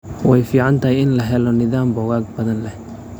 Way fiican tahay in la helo nidaam bogag badan leh.